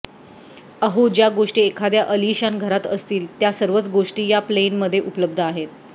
अहो ज्या गोष्टी एखाद्या अलिशान घरात असतील त्या सर्वच गोष्टी या प्लेनमध्ये उपलब्ध आहेत